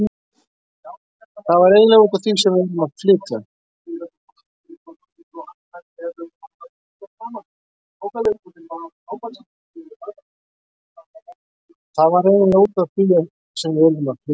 Það var eiginlega út af því sem við urðum að flytja.